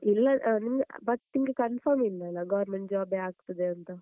ಇಲ್ಲ ಅಹ್ ನಿಮಗೆ uh but ನಿಮ್ಗೆ confirm ಇಲ್ಲಲ್ಲಾ? government job ಯೇ ಆಗ್ತದೆ ಅಂತ.